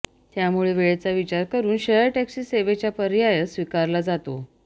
त्यामुळे वेळेचा विचार करून शेअर टॅक्सी सेवेचा पर्याय स्वीकारला जातो